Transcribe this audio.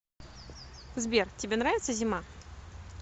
сбер тебе нравится зима